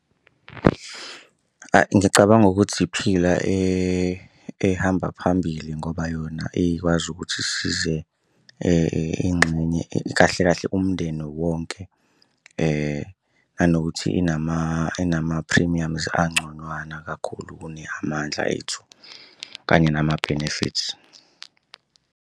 Ngicabanga ukuthi iPhila ehamba phambili ngoba yona ekwazi ukuthi isize ingxenye, kahle kahle umndeni wonke. Nanokuthi inama-premiums angconywana kakhulu kune-Amandla Ethu kanye nama benefits.